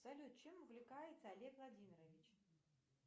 салют чем увлекается олег владимирович